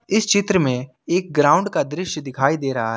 इस चित्र में एक ग्राउंड का दृश्य दिखाई दे रहा है।